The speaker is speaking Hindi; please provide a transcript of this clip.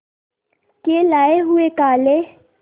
के लाए हुए काले